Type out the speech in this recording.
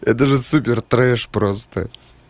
это же супертреш просто